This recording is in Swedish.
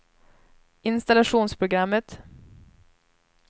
installationsprogrammet